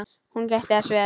Hún gætti þess vel.